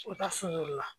U ka sun la